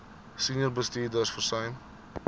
senior bestuurders versuim